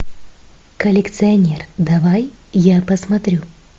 коллекционер давай я посмотрю